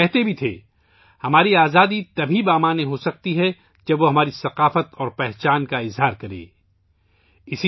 وہ یہ بھی کہا کرتے تھے کہ ''ہماری آزادی اسی وقت بامعنی ہو سکتی ہے ، جب یہ ہماری ثقافت اور شناخت کا اظہار کرے''